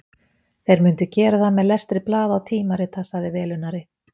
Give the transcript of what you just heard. Þeir myndu gera það með lestri blaða og tímarita, sagði velunnari